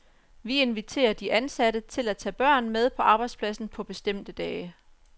Vi inviterer de ansatte til at tage børn med på arbejdspladsen på bestemte dage.